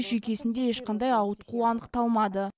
жүйкесінде ешқандай ауытқу анықталмады